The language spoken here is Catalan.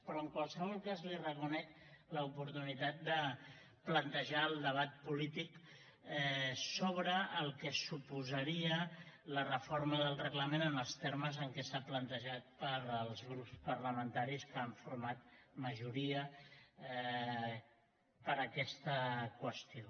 però en qualsevol cas li reconec l’oportunitat de plantejar el debat polític sobre el que suposaria la reforma del reglament en els termes en què s’ha plantejat pels grups parlamentaris que han format majoria per aquesta qüestió